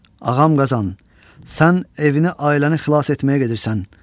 Ağam Qazan, sən evini ailəni xilas etməyə gedirsən.